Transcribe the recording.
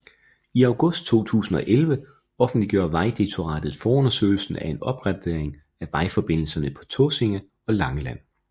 I august 2011 offentliggjorde Vejdirektoratet forundersøgelsen af en opgradering af vejforbindelserne på Tåsinge og Langeland